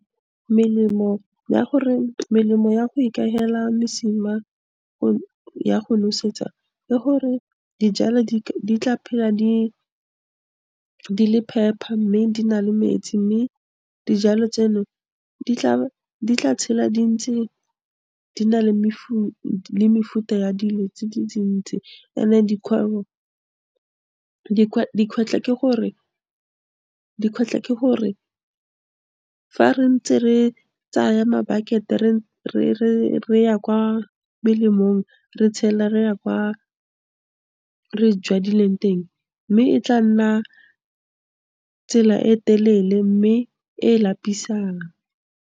Melemo ya gore, melemo ya go ikahela mosima ya go nosetsa, le gore dijalo di tla phela di le phepa, mme di na le metsi mme dijalo tseno, di tla tshela dintsi di na le mefuta ya dilo tse di ntsi ntsi and-e dikgwetlho ke gore, fa re ntse re tsaya ma-bucket-e re ya kwa melemong re tshela re ya kwa re jadileng teng, mme e tla nna tsela e telele mme e lapisang.